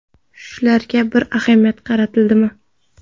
Shularga bir ahamiyat qaratilmadimi?